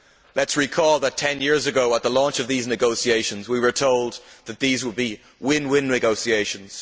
Let us recall that ten years ago at the launch of these negotiations we were told that these would be win win negotiations.